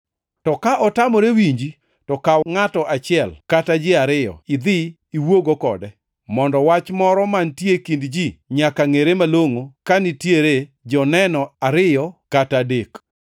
To ka otamore winji to kaw ngʼato achiel kata ji ariyo idhi iwuogo kode, mondo, wach moro mantie e kind ji nyaka ngʼere malongʼo ka nitiere joneno ariyo kata adek. + 18:16 \+xt Rap 19:15\+xt*